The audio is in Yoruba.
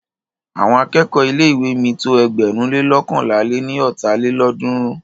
Àwọn akẹ́kọ̀ọ́ ilé ìwé mi tó ẹgbẹ̀rún le loókànlá lé ní ọ́ta lélọ́ọ̀dúnrún.